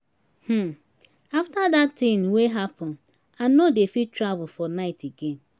um after dat thing wey happen i no dey fit travel for night again